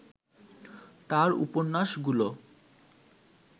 তাঁর উপন্যাসগুলো